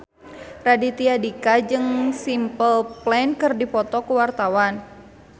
Raditya Dika jeung Simple Plan keur dipoto ku wartawan